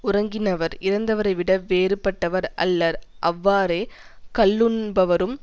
உறங்கினவர் இறந்தவரை விட வேறுபட்டவர் அல்லர் அவ்வாறே கள்ளுண்பவரும்